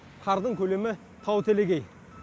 қардың көлемі тау телегей